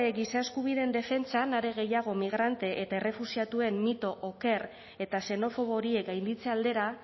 giza eskubideen defentsan are gehiago migrante eta errefuxiatuen mito oker eta xenofobo horiek gainditze aldera